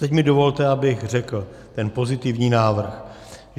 Teď mi dovolte, abych řekl ten pozitivní návrh.